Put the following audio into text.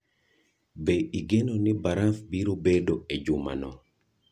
Be igeno ni baraf biro bedo e jumano?